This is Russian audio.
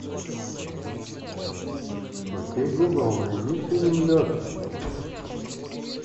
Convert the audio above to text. окей гугл найди фильм лед